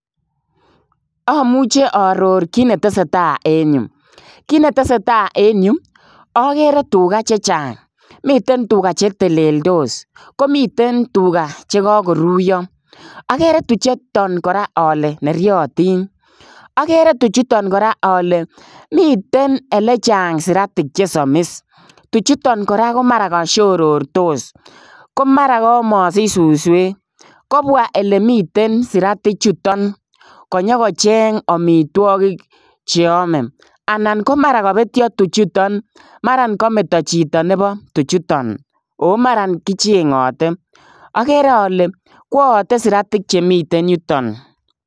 Amuchei aaoror kiit ne tesetai en Yuu kiit ne tesetai en Yuu agere tugaah chechaang miten tugaa che teleltos komiteen tuga chekakoruyaa agere tuchuutaan kora ale neriatiin agere tuchuutaan kora ale miten ole chaang siratik che samis tuchuutaan kora ko mara kashororstos tuchuutaan kora ko mara masiich susweek kobwa ele miten siratiik chutoon kobwa kole kocheeng amitwagiik cheame anan mara kabetyaan tuchutoo maraan kametaa chitoo nebo chichitoon ago maran kichengathe agere ale kwayate siratik chemiten ireyuutoon.